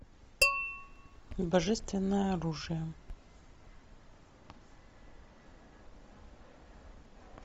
божественное оружие